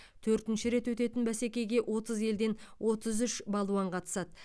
төртінші рет өтетін бәсекеге отыз елден отыз үш балуан қатысады